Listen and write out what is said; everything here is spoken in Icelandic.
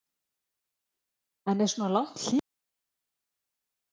En er svona langt hlé ekki erfitt?